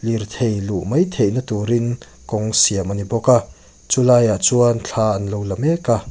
lirthei luh mai theihna tur in kawng siam a ni bawk a chu lai ah chuan thla an lo la mek a.